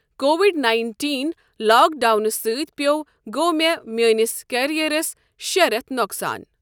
Covid nineteen لاکڈونہٕ سۭتۍ پیوو گوٚو مےٚ میٲنِس کیریرس شیٚے رٮ۪تھ نۄقصان۔